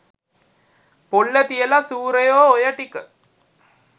පොල්ල තියල සුරයො ඔය ටික